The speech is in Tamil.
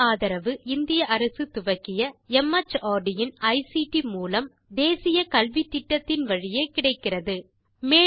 இதற்கு ஆதரவு இந்திய அரசு துவக்கிய மார்ட் இன் ஐசிடி மூலம் தேசிய கல்வித்திட்டத்தின் வழியே கிடைக்கிறது